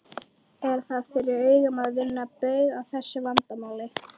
Er það fyrir augum að vinna bug á þessu vandamáli?